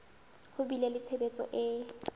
ho bile le tshehetso e